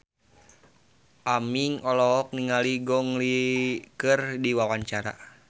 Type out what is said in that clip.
Aming olohok ningali Gong Li keur diwawancara